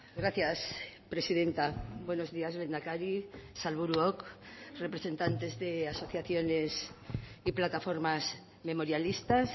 gracias presidenta buenos días lehendakari sailburuok representantes de asociaciones y plataformas memorialistas